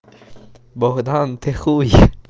богдан ты хуй